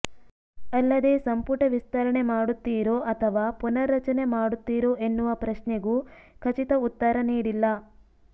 ಅಲ್ಲದೇ ಸಂಪುಟ ವಿಸ್ತರಣೆ ಮಾಡುತ್ತೀರೋ ಅಥವಾ ಪುನರ್ ರಚನೆ ಮಾಡುತ್ತೀರೋ ಎನ್ನುವ ಪ್ರಶ್ನೆಗೂ ಖಚಿತ ಉತ್ತರ ನೀಡಿಲ್ಲ